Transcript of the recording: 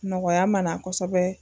Nɔgɔya ma na kosɛbɛ